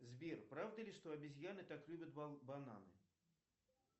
сбер правда ли что обезьяны так любят бананы